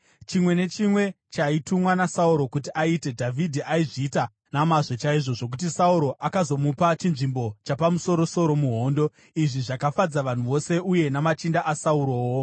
Chimwe nechimwe chaaitumwa naSauro kuti aite, Dhavhidhi aizviita nomazvo chaizvo zvokuti Sauro akazomupa chinzvimbo chapamusoro-soro muhondo. Izvi zvakafadza vanhu vose, uye namachinda aSaurowo.